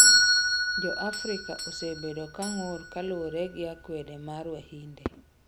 Jo Afrika osebedo kang'ur kaluore gii akwede mar wahinde